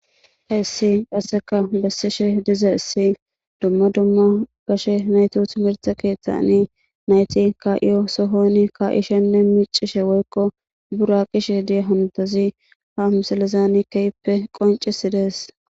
Heessi qasseka bessishe dizayssi dumma dumma gashe naytawu timirte keeththani nayti ka7iyo sohoni ka7i shenne miicishe woykko buraqishe diyo ha msalizani keehiippe qoncisdees.